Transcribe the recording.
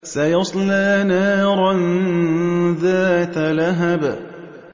سَيَصْلَىٰ نَارًا ذَاتَ لَهَبٍ